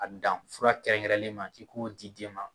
A dan fura kɛrɛ kɛrɛlen ma ki k'o di den ma.